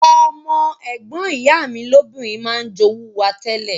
Ọmọ ègbon ìyá mi lobìnrin ma n jowú wa tẹ́lẹ̀